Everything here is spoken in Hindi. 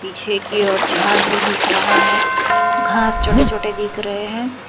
पीछे की ओर झाड़ भी दिख रहा है घास छोटे छोटे दिख रहे हैं।